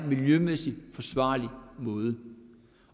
miljømæssigt forsvarlig måde